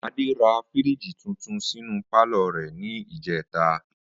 Adé ra fíríìjì tuntun sínú pálò̩ rè̩ ní ìjé̩ta